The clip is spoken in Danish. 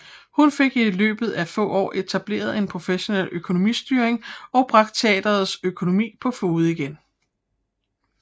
Hun fik i løbet af få år etableret en professionel økonomistyring og bragt teatrets økonomi på fode igen